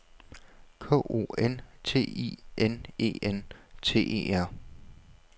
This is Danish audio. K O N T I N E N T E R